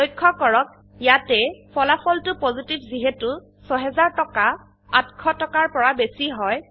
লক্ষ্য কৰক ইয়াতে ফলাফলটো পজিটিভ যিহেতু ৬০০০ টকা ৮০০ টকাৰ পৰা বেশী হয়